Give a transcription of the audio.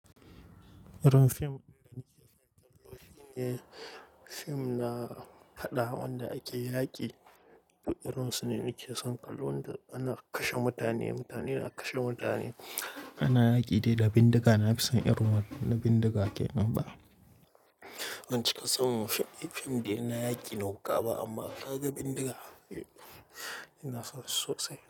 Irin fim ɗin da muke son kallo shine fim na faɗa wanda ake yaƙi. Irin su ne muke son kallo wanda ana kashe mutane, mutane na kashe mutane. Ana yaƙi dai da bindiga, na fi son irin wannan na bindiga ke nan ba. Ban cika son fim ɗin na yaƙi na wuƙa ba amma ka ga bindiga, ina son su sosai.